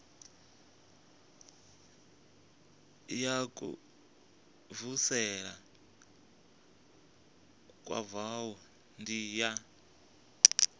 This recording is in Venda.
ya kuvhusele kwavhui ndi ya